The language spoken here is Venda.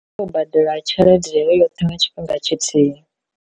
U badela tshelede heyo yoṱhe nga tshifhinga tshithihi.